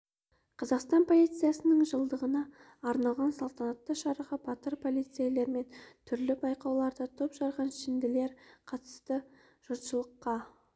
қазақстан полициясының жылдығына арналған салтанатты шараға батыр полицейлер мен түрлі байқауларда топ жарған шенділер қатысты жұртшылыққа